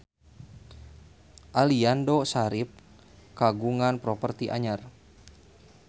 Aliando Syarif kagungan properti anyar